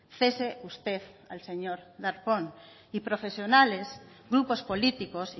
cese usted al señor darpón y profesionales grupos políticos